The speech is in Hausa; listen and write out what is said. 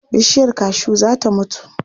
Bishiyar kashu za ta mutu.